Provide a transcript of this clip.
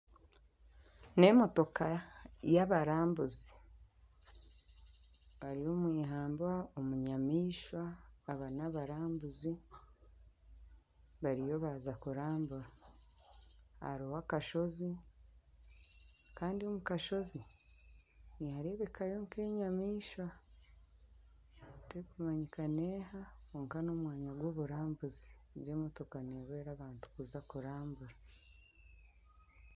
Emotoka yabarambuzi bari omui hamba omunyamaishwa aba nabarambuzi bariyo baaza kurambura hariyo akashozi kandi omu kashozi niharebekayo nk'enyamaishwa tekumanyika neha kwonka n'omwanya gw'oburambuzi egi emotoka nehweera abantu kuza kurambura.